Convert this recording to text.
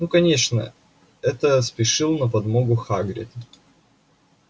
ну конечно это спешил на подмогу хагрид